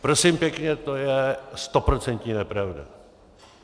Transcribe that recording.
Prosím pěkně, to je stoprocentní nepravda.